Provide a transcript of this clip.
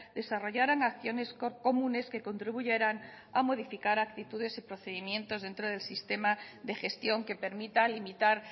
desarrollaran acciones comunes que contribuyeran a modificar actitudes y procedimientos dentro del sistema de gestión que permita limitar